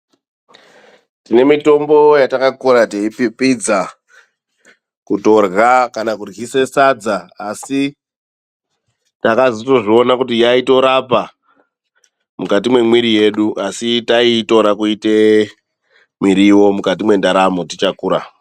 Tine mitombo yatakakura teipipidza, kutorya kana kuryise sadza asi takazotozviona kuti yaitorapa mukati memwiri yedu. Asi taiitora kuita miriwo mukati mendaramo tichakura.